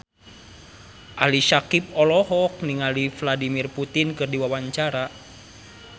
Ali Syakieb olohok ningali Vladimir Putin keur diwawancara